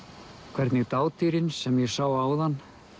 hvernig sem ég sá áðan